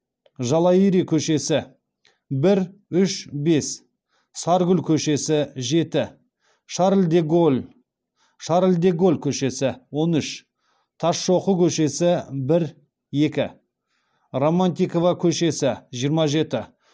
жалайыри көшесі бір үш бес саргүл көшесі жеті шарль де голль көшесі он үш тасшоқы көшесі бір екі романтикова көшесі жиырма жеті